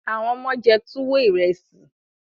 àwọn omo jé tuwo Ìrẹsì.